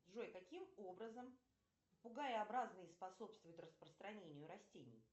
джой каким образом попугаеобразные способствуют распространению растений